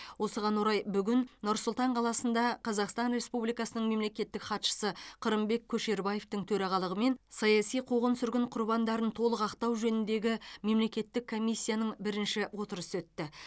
осыған орай бүгін нұр сұлтан қаласында қазақстан республикасының мемлекеттік хатшысы қырымбек көшербаевтың төрағалығымен саяси қуғын сүргін құрбандарын толық ақтау жөніндегі мемлекеттік комиссияның бірінші отырысы өтті